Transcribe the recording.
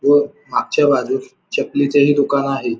व मागच्या बाजूस चपली चेही दुकान आहे.